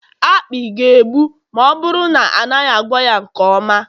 akpị ga-egbu ma ọ bụrụ na a naghị agwọ ya nke ọma